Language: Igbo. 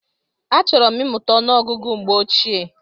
Achọrọ m imuta ọnụ ọgụgụ mgbe ochie.